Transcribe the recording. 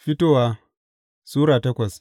Fitowa Sura takwas